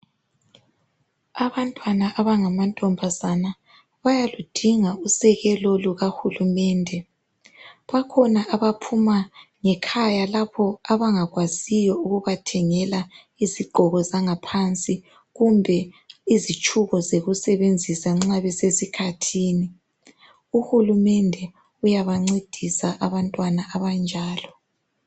Abantwana abangamantombazana bayaludinga usekelo lukahulumende . Bakhona abaphuma ngekhaya lapho abangakwaziyo ukubathengela izigqoko zangaphansi kumbe izitshubo zokusebenzisa nxa besesikhathini. Uhulumende uyabancedisa abantwana abanjalo.